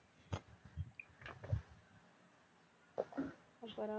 அப்புறம்